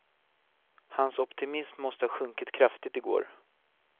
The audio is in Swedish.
Hans optimism måste ha sjunkit kraftigt i går.